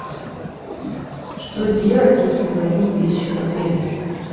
что делать если забыл вещи в отеле